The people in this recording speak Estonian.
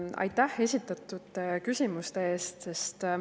Aitäh esitatud küsimuste eest!